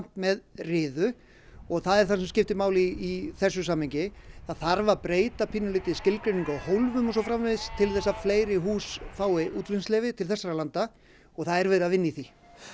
með riðu og það er það sem skiptir máli í þessu samhengi það þarf að breyta pínulítið skilgreiningum á hólfum og svo framvegis til að fleiri hús fái útflutningsleyfi til þessara landa og það er verið að vinna í því